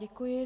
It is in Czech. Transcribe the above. Děkuji.